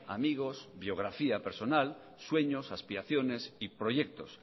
amigos biografía personal sueños aspiraciones y proyectos